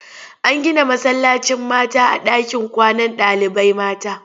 An gina masallacin mata a ɗakin kwanan ɗalibai mata.